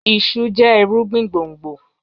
Iṣu jẹ irugbin gbongbo